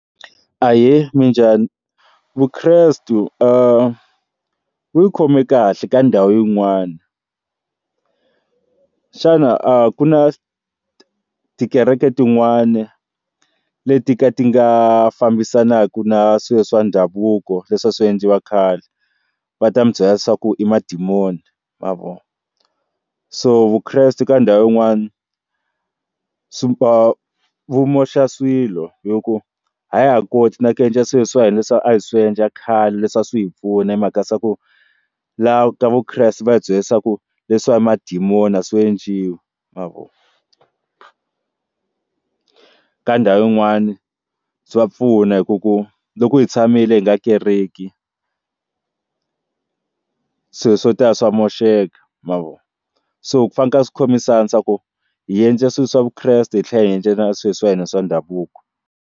Ahee minjhani? Vukreste u yi khome kahle ka ndhawu yin'wana xana a ku na tikereke tin'wana leti ka ti nga fambisanaka na swilo swa ndhavuko leswi a swiendliwa khale va ta mi byela leswaku i madimoni ma vo so vukreste ka ndhawu yin'wana swi vu moxa swilo hi ku a ya ha koti na ku endla swilo swa hina swa a hi swi endla khale leswi a swi hi pfuna hi mhaka se ku laha ka vukreste va hi byela leswaku leswi swa madimoni a swi enciwii ma vo ka ndhawu yin'wana bya pfuna hi ku ku loko hi tshamile hi nga kereki swilo swo tala swa moxeka ma vo so ku fanekele swi khomisana swa ku hi endle swilo swa vukreste hi tlhela hi endlela swilo swa hina swa ndhavuko.